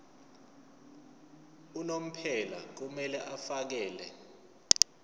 unomphela kumele afakele